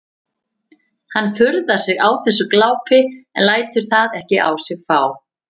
Hann furðar sig á þessu glápi en lætur það ekki á sig fá.